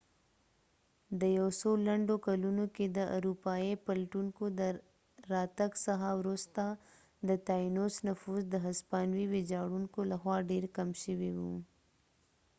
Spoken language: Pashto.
د یو څو لنډو کلونو کې د اروپایې پلټونکو د راتګ څخه وروسته د تاینوس نفوس د هسپانوي ويجاړونکو له خوا ډیر کم شوي و